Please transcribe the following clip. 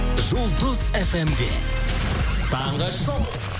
жұлдыз фм де таңғы шоу